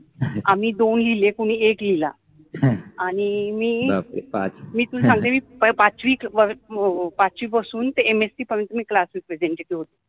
आम्हि दोन लिहिले, कुनि एक लिहिला आणी मि बापरे पाच मि तुला सांगते मि पाचवि पासुन ते MSC पर्यंत मि क्लासेस प्रेजेंट केले होते.